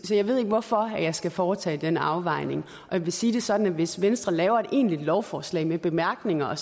så jeg ved ikke hvorfor jeg skal foretage den afvejning jeg vil sige det sådan at hvis venstre laver et egentligt lovforslag med bemærkninger